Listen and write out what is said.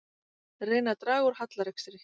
Reyna að draga úr hallarekstri